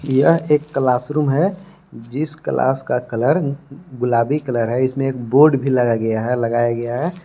यह एक classroom है जिस क्लास का कलर गुलाबी कलर है इसमें एक बोर्ड भी लगाया गया है।